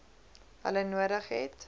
hulle nodig het